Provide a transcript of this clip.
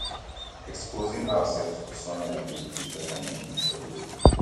exposing ourself to sunlight dey increase vitamin d for di body